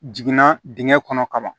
Jiginna dingɛ kɔnɔ kaban